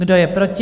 Kdo je proti?